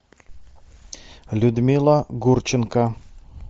людмила гурченко